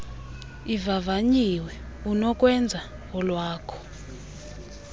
ivavanyiwe unokwenza olwakho